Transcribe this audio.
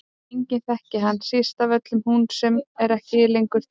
Enginn þekkir hana, síst af öllum hún sem er ekki lengur til.